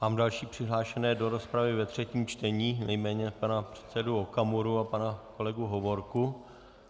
Mám další přihlášené do rozpravy ve třetím čtení, nejméně pana předsedu Okamuru a pana kolegu Hovorku -